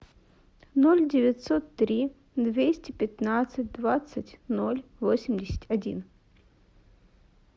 ноль девятьсот три двести пятнадцать двадцать ноль восемьдесят один